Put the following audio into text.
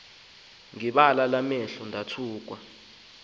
ngebala enamehlo amakhulu